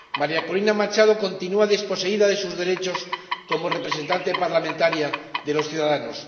María Corina Machado continúa desposeída de sus derechos como representante parlamentaria de los ciudadanos.